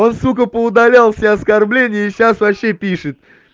он сука поудалял все оскорбления и сейчас вообще пишет